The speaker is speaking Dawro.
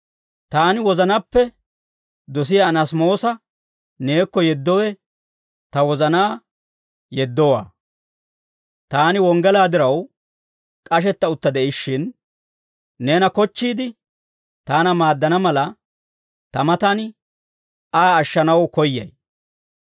Taani wozanaappe dosiyaa Anaasimoosa neekko yeddowe ta wozanaa yeddowaa. Taani wonggalaa diraw k'ashetta utta de'ishshin, neena kochchiide, taana maaddana mala, ta matan Aa ashshanaw koyyay.